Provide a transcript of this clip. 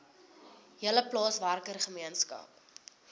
hele plaaswerker gemeenskap